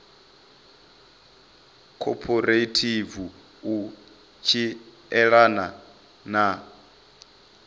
khophorethivi u tshi elana na